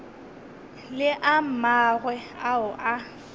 le a mangwe ao a